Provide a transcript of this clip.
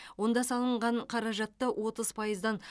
онда салынған қаражатты отыз пайыздан